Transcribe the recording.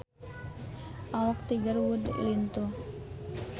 Awak Tiger Wood lintuh